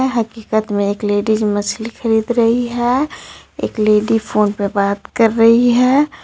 हकीकत में एक लेडीज मछली ख़रीद रही है एक लेडी फोन पे बात कर रही है.